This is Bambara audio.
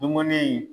Dumuni